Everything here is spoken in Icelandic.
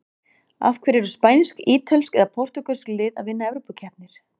Af hverju eru spænsk, ítölsk og portúgölsk lið að vinna evrópukeppnir?